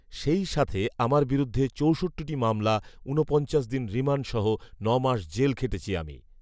সেই সাথে আমার বিরুদ্ধে চৌষট্টিটি মামলা, উনপঞ্চাশ দিন রিমান্ড সহ নয় মাস জেল খেটেছি আমি